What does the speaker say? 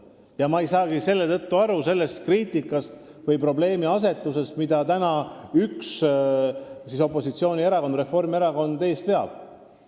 Seetõttu ma ei saagi aru sellest kriitikast või probleemiasetusest, mida üks opositsioonierakond, Reformierakond, praegu eest veab.